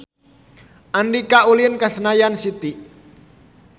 Andika ulin ka Senayan City